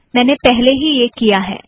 मैंने पहले ही यह किया है